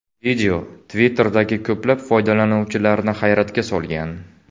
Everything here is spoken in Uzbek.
Video Twitter’dagi ko‘plab foydalanuvchilarni hayratga solgan.